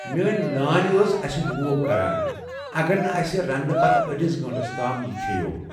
میٛٲنۍ نانۍ ٲس اسہِ روب کران اگر نہٕ اَسہِ رنٛنہٕ پتہٕ أڈس گنٹس تام یہِ کھیٚوو۔